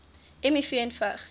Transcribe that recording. miv en vigs